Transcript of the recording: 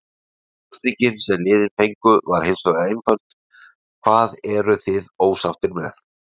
Spurningin sem liðin fengu var hinsvegar einföld: Hvað eruð þið ósáttir með?